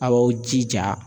Aw b'aw jija